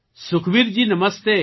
Sukhbir ji Namaste